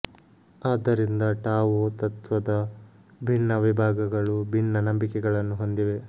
ಆದ್ದರಿಂದ ಟಾವೊ ತತ್ತ್ವದ ಭಿನ್ನ ವಿಭಾಗಗಳು ಭಿನ್ನ ನಂಬಿಕೆಗಳನ್ನು ಹೊಂದಿವೆ